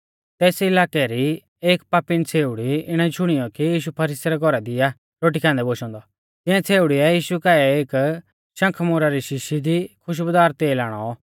तेस इलाकै री एक पापीण छ़ेउड़ी इणै शुणियौ कि यीशु फरीसी रै घौरा दी आ रोटी खान्दै बोशौ औन्दौ तिऐं छ़ेउड़ीऐ यीशु काऐ एकी शंखमोरा री शीशी दी खुश्बुदार तेल आणौ